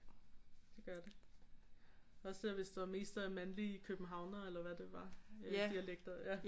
Det gør det også selvom hvis der mest er mandlige københavnere eller hvad det var dialekter